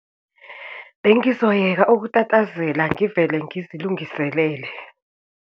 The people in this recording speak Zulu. Bengizoyeka ukutatazela ngivele ngizilungiselele.